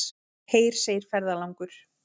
Heyr, segir ferðalangur.